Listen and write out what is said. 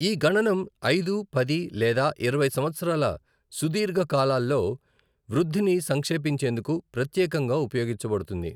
ఈ గణనం ఐదు, పది లేదా ఇరవై సంవత్సరాల సుదీర్ఘ కాలాల్లో వృద్ధిని సంక్షేపించేందుకు ప్రత్యేకంగా ఉపయోగించబడుతుంది.